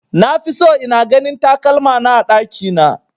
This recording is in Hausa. Nafi so ina ganin takalmana a ɗakina